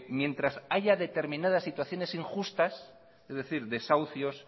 mientras haya determinadas situaciones injustas es decir desahucios